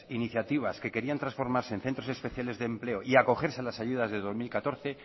iniciativas que querían transformarse en centro especiales de empleo y acogerse a las ayudas de dos mil catorce